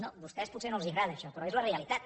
no a vostès potser no els agrada això però és la realitat